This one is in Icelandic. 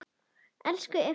Elsku Eyþór Máni.